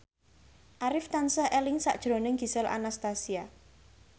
Arif tansah eling sakjroning Gisel Anastasia